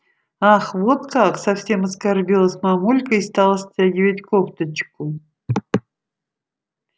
ах вот как совсем оскорбилась мамулька и стала стягивать кофточку